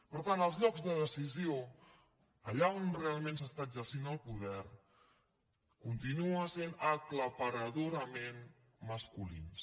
per tant els llocs de decisió allà on realment s’està exercint el poder continuen sent aclaparadorament masculins